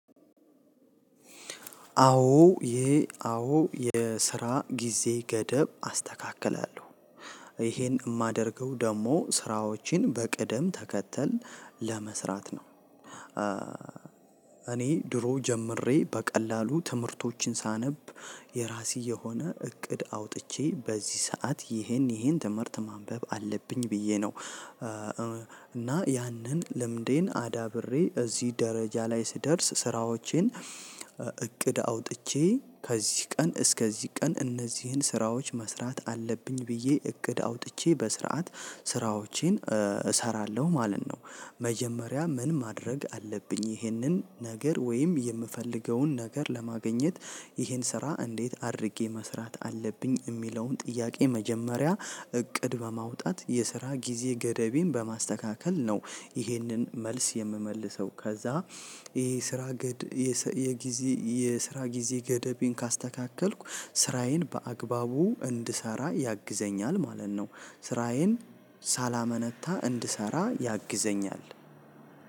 አዎ ይሄ አዎ የስራ ጊዜ ገደብ አስተካክላለሁ ይሄን የማደርገው ደግሞ ስራዎችን በቅደም ተከተል ለመስራት ነው። እኔ ድሮ ጀምሬ በቀላሉ ትምህርቶችን ሳነብ የራሴ የሆነ እቅድ አውጥቼ በዚህ ሰዓት ይሄን ይሄን ትምህርት ማንበብ አለብኝ ብዬ ነው። እና ያንን ልምዴን አዳብሬ እዚህ ደረጃ ላይ ስደርስ ስራዎቼን እቅድ አውጥቼ ከዚህ ቀን እስከዚህ ቀን እነዚህን ስራዎች መስራት አለብኝ ብዬ እቅድ አውጥቼ በስርዓት ስራዎቼን እሰራለሁ ማለት ነው። መጀመሪያ ምን ማድረግ አለብኝ ይህንን ነገር ወይም የምፈልገውን ነገር ለማግኘት ይህን ስራ እንዴት አድርጌ መስራት አለብኝ የሚለውን ጥያቄ መጀመሪያ እቅድ በማውጣት የስራ ጊዜ ገደቤን በማስተካከል ነው። ይህንን መልስ የምመልሰው ከዛ ይሄ ስራ ግድ የጊዜ የስራ ጊዜ ገደቤን ካስተካከልኩ ስራዬን በአግባቡ እንድሰራ ያግዘኛል ማለት ነው። ስራዬን ሳላመነታ እንድሰራ ያግዘኛል።